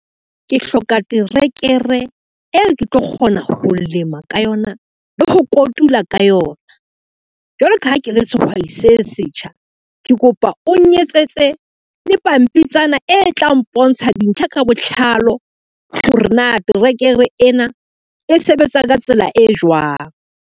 Ke hloka terekere eo ke tlo kgona ho lema ka yona le ho kotula ka yona. Jwalo ka ha ke le sehwai se setjha, ke kopa o nnyetsetse le pampitshana e tla mpontsha dintlha ka botlalo hore na terekere ena e sebetsa ka tsela e jwang.